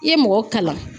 I ye mɔgɔ kalan